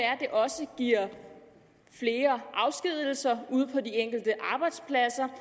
også giver flere afskedigelser ude på de enkelte arbejdspladser